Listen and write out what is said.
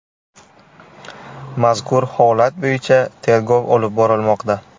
Mazkur holat bo‘yicha tergov olib borilmoqda.